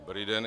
Dobrý den.